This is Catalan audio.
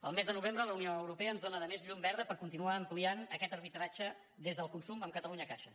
el mes de novembre la unió europea ens dóna a més llum verda per continuar ampliant aquest arbitratge des del consum amb catalunyacaixa